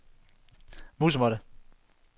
musemåtte